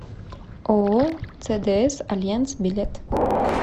ооо цдс альянс билет